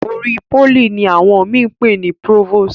olórí poly ní àwọn mi pe ní provost.